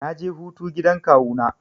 Na je hutu gidan kawu na.